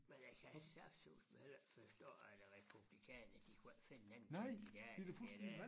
Men jeg kan saftsusme heller ikke forstå at republikanerne de kunne ikke finde en anden kandidat end det dér